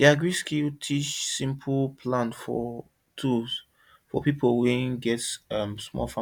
the agriskill teach us simple plan for tools for people wey get small um farm